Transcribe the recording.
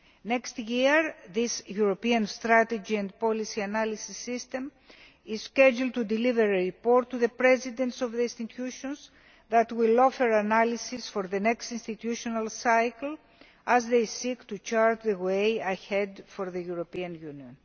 Next year, this European Strategy and Policy Analysis System is scheduled to deliver a report to the presidents of the institutions that will offer analysis for the next institutional cycle, as they seek to chart the way ahead for the European Union.